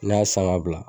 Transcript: Ne y'a san ka bila